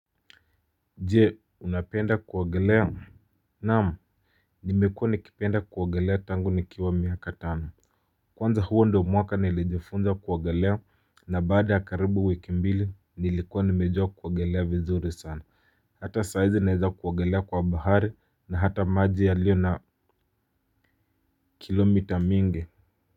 Je unapenda kuogelea naam nimekua nikipenda kuogelea tangu nikiwa miaka tano kwanza huo ndo mwaka nilijifunza kuogelea na baada ya karibu wiki mbili nilikuwa nimejua kuogelea vizuri sana hata saizi naeza kuogelea kwa bahari na hata maji ya liyo na kilomita mingi.